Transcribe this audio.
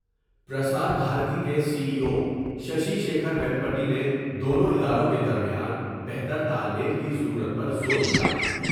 پرسار بھارتی کے C E O شیکھرویم پاٹی نے دونوں اداروں کے درمیان بہتر تال میل کی ضرورت پر زور دیا ۔